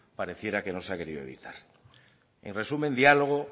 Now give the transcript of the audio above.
pareciera que no se ha querido evitar en resumen diálogo